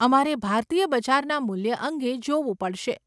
અમારે ભારતીય બજારના મૂલ્ય અંગે જોવું પડશે.